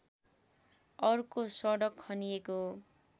अर्को सडक खनिएको